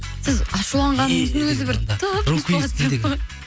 сіз ашуланғаныңыздың өзі бір тым